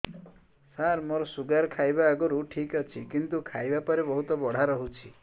ସାର ମୋର ଶୁଗାର ଖାଇବା ଆଗରୁ ଠିକ ଅଛି କିନ୍ତୁ ଖାଇବା ପରେ ବହୁତ ବଢ଼ା ରହୁଛି